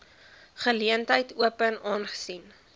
geleentheid open aangesien